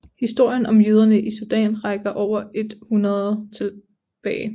Historien om jøderne i Sudan rækker over et århundrede tilbage